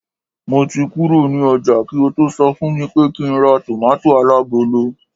mo ti kuro ni oja ki o to so fun mi pé kín ra tomato alagolo